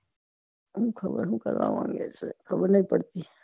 સુ ખબર સુ કરવા માંગે છે ખબર ની પડતી